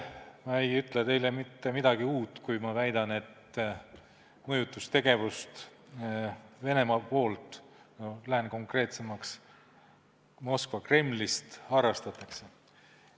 Ma ei ütle teile mitte midagi uut, kui ma väidan, et mõjutustegevust Venemaalt, lähen konkreetsemaks, Moskva Kremlist harrastatakse.